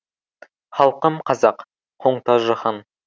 халқым қазақ қоңтажы хан